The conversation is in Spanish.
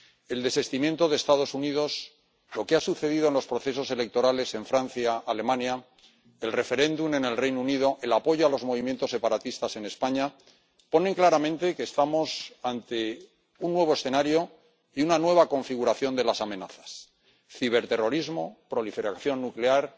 El desistimiento de Estados Unidos, lo que ha sucedido en los procesos electorales en Francia, Alemania, el referéndum en el Reino Unido, el apoyo a los movimientos separatistas en España dejan claro que estamos ante un nuevo escenario y una nueva configuración de las amenazas ciberterrorismo, proliferación nuclear,